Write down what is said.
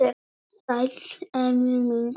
Sæll, Emil minn.